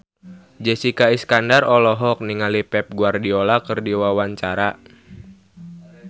Jessica Iskandar olohok ningali Pep Guardiola keur diwawancara